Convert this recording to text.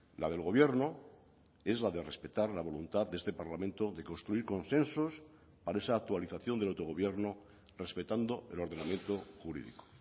la del gobierno es la de respetar la voluntad de este parlamento de construir consensos para esa actualización del autogobierno respetando el ordenamiento jurídico